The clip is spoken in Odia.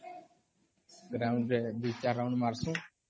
ground ରେ ଦି ଚାର round ମାରସୁ